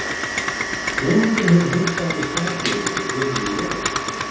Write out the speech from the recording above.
Konungur hefur heimtað af mér sakeyri fyrir gömul legorðsbrot.